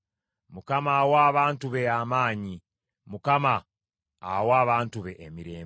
Mukama awa abantu be amaanyi; Mukama awa abantu be emirembe.